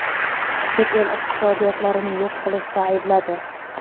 chet el iqtisodiyotlarini yo‘q qilishda aybladi.